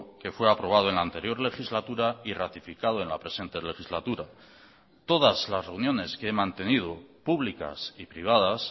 que fue aprobado en la anterior legislatura y ratificado en la presente legislatura todas las reuniones que he mantenido públicas y privadas